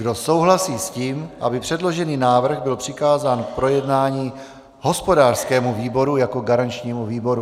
Kdo souhlasí s tím, aby předložený návrh byl přikázán k projednání hospodářskému výboru jako garančnímu výboru?